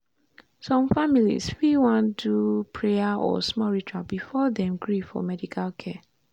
some families fit wan do prayer or small ritual before dem gree for medical care.